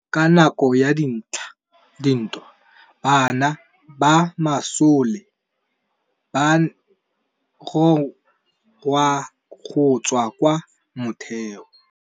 Ka nakô ya dintwa banna ba masole ba rongwa go tswa kwa mothêô.